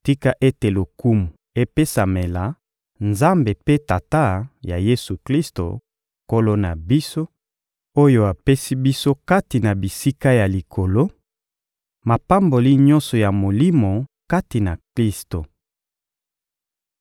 Tika ete lokumu epesamela Nzambe mpe Tata ya Yesu-Klisto, Nkolo na biso, oyo apesi biso kati na bisika ya Likolo, mapamboli nyonso ya Molimo kati na Klisto.